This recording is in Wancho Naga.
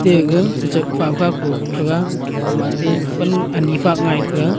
agechi chak fa poh tega huma te pan ani fa ngai tega.